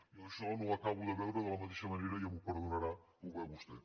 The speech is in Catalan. jo això no ho acabo de veure de la mateixa manera ja m’ho perdonarà que ho veu vostè